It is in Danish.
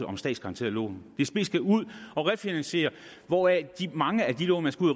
om statsgaranterede lån dsb skal ud og refinansiere hvoraf mange af de lån man skal ud